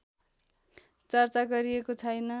चर्चा गरिएको छैन